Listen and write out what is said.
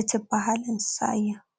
እትባሃል እንስሳ እያ፡፡